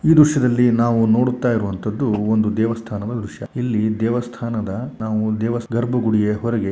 ಈ ದೃಶ್ಯದಲ್ಲಿ ನಾವು ನೋಡುತ್ತಾ ಇರುವಂಥದ್ದು ಒಂದು ದೇವಸ್ಥಾನದ ದೃಶ್ಯ ಇಲ್ಲಿ ದೇವಸ್ಥಾನದ ನಾವು ದೇವಾ ಗರ್ಭಗುಡಿಯ ಹೊರಗೆ --